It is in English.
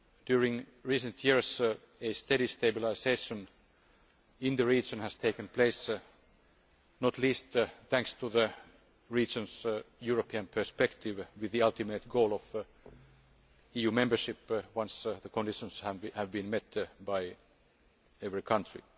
In recent years a steady stabilisation in the region has taken place, not least thanks to the region's European perspective, with the ultimate goal being EU membership once the conditions have been met by every country.